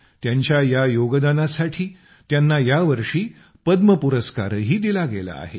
त्यांच्या या योगदानासाठी त्यांना यावर्षी पद्म पुरस्कारही दिला गेला आहे